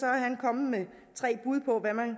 er han kommet med tre bud på hvad man